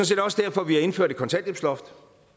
set også derfor vi har indført et kontanthjælpsloft